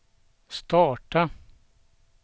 starta